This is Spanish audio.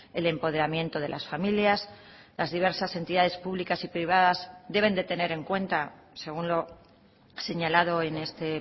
el empoderamiento de las familias las diversas entidades públicas y privadas deben de tener en cuenta según lo señalado en este